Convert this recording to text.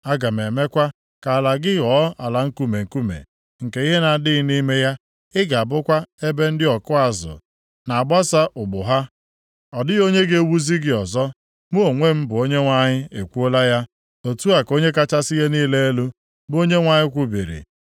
Aga m emekwa ka ala gị ghọọ ala nkume nkume, nke ihe na-adịghị nʼime ya. Ị ga-abụkwa ebe ndị ọkụ azụ ga na-agbasa ụgbụ ha. Ọ dịghị onye ga-ewuzi gị ọzọ. Mụ onwe m bụ Onyenwe anyị ekwuola ya. Otu a ka Onye kachasị ihe niile elu, bụ Onyenwe anyị kwubiri.